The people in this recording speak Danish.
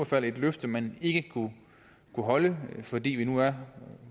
fald et løfte man ikke kunne holde fordi vi nu er